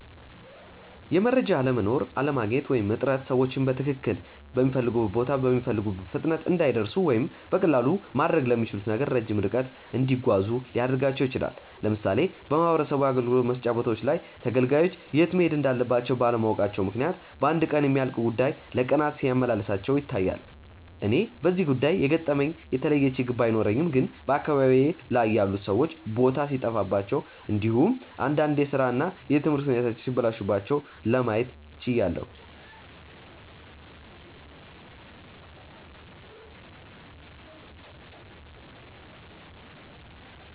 የመረጃ አለመኖር፣ አለማግኘት ወይም እጥረት ሰዎችን በትክልል ሚፈልጉበት ቦታ በሚፈልጉት ፍጥነት እንዳይደርሱ ወይም በቀላሉ ማድረግ ለሚችሉት ነገር ረጅም ርቀት እንዲጓዙ ሊያደርጋቸው ይችላል። ለምሳሌ በማህበረሰብ አገልግሎት መስጫ ቦታዎች ላይ ተገልጋዮች የት መሄድ እንዳለባቸው ባለማወቃቸው ምክንያት በአንድ ቀን የሚያልቅ ጉዳይ ለቀናት ሲያመላልሳቸው ይታያል። እኔ በዚህ ጉዳይ የገጠመኝ የተለየ ችግር ባይኖርም ግን በአካባቢዬ ላይ ያሉት ሰዎች ቦታ ሲጠፋቸው እንዲሁም እንዳንድ የስራ እና የትምህርት ሁኔታዎች ሲበላሹባቸው ለማየት ችያለው።